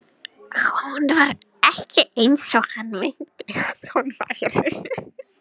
Hún var ekki eins og hann minnti að hún væri.